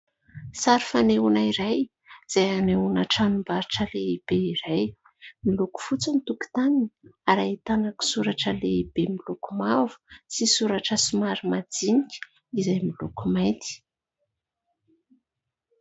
Sary fanehoana iray izay anehoana tranom-barotra lehibe iray. Miloko fotsy ny tokotaniny ary ahitana koa soratra lehibe miloko mavo sy soratra somary majinika izay miloko mainty.